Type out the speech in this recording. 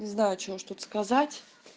не знаю что уж тут сказать